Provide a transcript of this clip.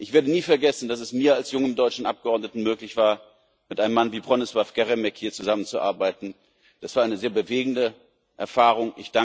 Ich werde nie vergessen, dass es mir als jungem deutschem Abgeordneten möglich war, hier mit einem Mann wie Bronisław Geremek zusammenzuarbeiten. Das war eine sehr bewegende Erfahrung.